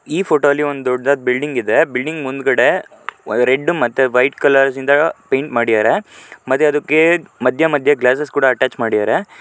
ಈ ಫೋಟೋ ಅಲ್ಲಿ ಒಂದು ದೊಡ್ಡದಾದ ಬಿಲ್ಡಿಂಗ್ ಇದೆ ಬಿಲ್ಡಿಂಗ್ ಮುಂದುಗಡೆ ರೆಡ್ ಮತ್ತೆ ವೈಟ್ಕಲರ್ ನಿಂದ ಪೈಂಟ್ ಮಾಡಿದ್ದಾರೆ. ಮತ್ತೆ ಅದಕ್ಕೆ ಮಧ್ಯ ಮಧ್ಯ ಗ್ಲಾಸಸ್ ಕೂಡ ಅಟ್ಯಾಚ್ ಮಾಡಿದ್ದರೆ.